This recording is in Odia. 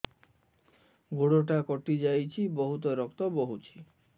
ଗୋଡ଼ଟା କଟି ଯାଇଛି ବହୁତ ରକ୍ତ ବହୁଛି